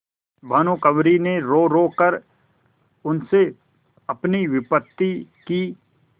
भानुकुँवरि ने रोरो कर उनसे अपनी विपत्ति की